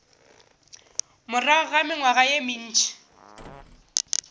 morago ga mengwaga ye mentši